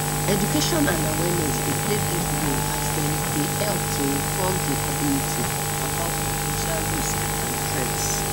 education and awareness dey play big role as dem dey help to inform di community about po ten tial risks and threats